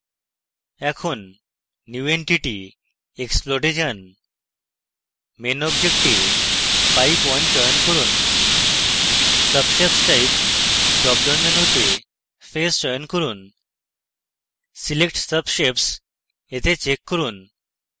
in new entity>> explode এ main main object এ pipe _ 1 চয়ন করুন subshapes type drop down মেনুতে face চয়ন করুন select subshapes এ check করুন